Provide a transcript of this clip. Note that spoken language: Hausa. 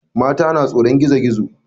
Mata na tsoron gizo gizo.